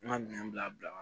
N ka minɛn bila bila